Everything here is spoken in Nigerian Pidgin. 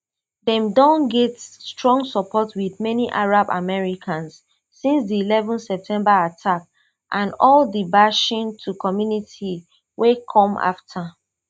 dem don get strong support wit many arab americans since di eleven september attacks and all di bashing to community wey come afta